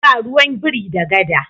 Ba ruwan biri da gada.